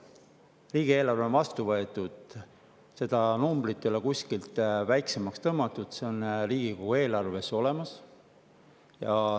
Riigieelarve on vastu võetud, aga seda numbrit ei ole kuskilt väiksemaks tõmmatud, see on Riigikogu eelarves olemas.